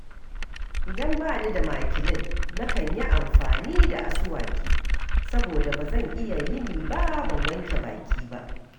Idan ba ni da makilin nakan yi amfani da asuwaki, saboda ba zan iya yini ba, ban wanke baki ba